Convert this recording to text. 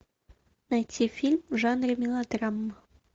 найти фильм в жанре мелодрама